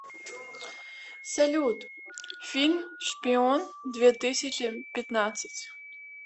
салют фильм шпион две тысячи пятнадцать